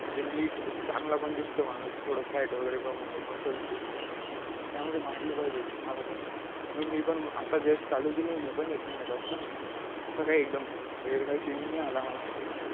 म्हणजे नीट चांगला पण दिसतो माणूस थोडं fat वगैरे muscle दिसतात त्यामुळे मारली पाहिजे gym मला पण म्हणून मी पण आता just चालू केली मी पण एक महिन्यापासन आता काय एकदम वेगळा change नाही आला मला अजून